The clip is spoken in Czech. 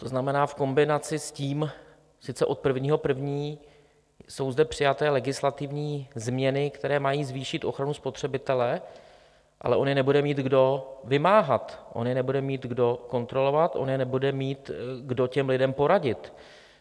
To znamená v kombinaci s tím, sice od 1. 1. jsou zde přijaté legislativní změny, které mají zvýšit ochranu spotřebitele, ale on je nebude mít kdo vymáhat, on je nebude mít kdo kontrolovat, on nebude mít kdo těm lidem poradit.